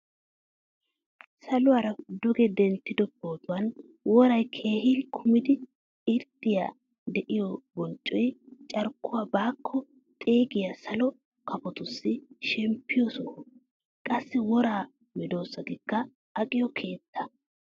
Saluwaara dugge denttido pootuwaan woray keehin kumidi irxxay deiyo bonccoy carkkuwaa baako xeegiya salo kafotussi shemmpiyo soho. Qassi wora medosatusikka aqqiyo keettaa.